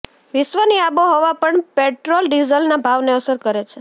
વિશ્વની આબોહવા પણ પેટ્રોલ ડીઝલના ભાવને અસર કરે છે